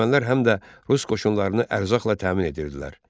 Ermənilər həm də rus qoşununu ərzaqla təmin edirdilər.